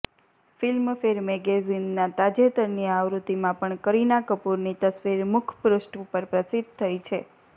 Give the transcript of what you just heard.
ફિલ્મફૅર મૅગેઝીનના તાજેતરની આવૃત્તિમાં પણ કરીના કપૂરની તસવીર મુખપૃષ્ઠ ઉપર પ્રસિદ્ધ થઈ છે